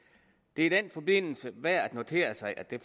det er i den forbindelse værd at notere sig at det